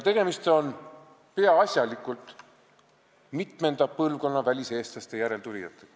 Need on peaasjalikult väliseestlaste mitmenda põlvkonna järeltulijad.